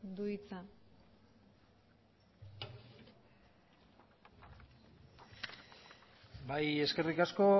du hitza bai eskerrik asko